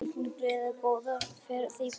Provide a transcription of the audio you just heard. Haukar gerðu góða ferð í Bogann